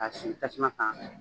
K'a sigi tasuma kan